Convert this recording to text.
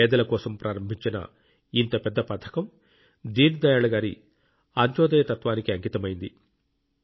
పేదల కోసం ప్రారంభించిన ఇంత పెద్ద పథకం దీన్ దయాళ్ గారి అంత్యోదయ తత్వానికి అంకితమైంది